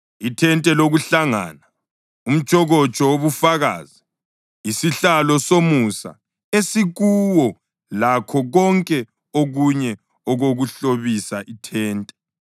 ithente lokuhlangana, umtshokotsho wobufakazi, isihlalo somusa esikuwo, lakho konke okunye okokuhlobisa ithente: